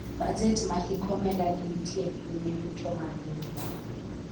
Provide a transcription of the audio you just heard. bajet ma hik omenda ni nitie piny ne yuto mar riwruok